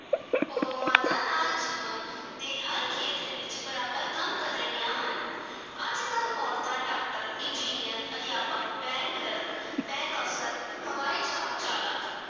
ਉਹ ਮਰਦਾਂ ਨਾਲ ਜੀਵਨ ਦੇ ਹਰ ਖੇਤਰ ਵਿਚ ਬਰਾਬਰ ਕੰਮ ਕਰ ਰਹੀਆਂ ਹਨ ਅੱਜਕਲ੍ਹ ਔਰਤਾਂ doctor, engineer ਅਧਿਆਪਕ bank clerk bank ਅਫਸਰ ਹਵਾਈ ਜਹਾਜ਼ ਚਾਲਕ,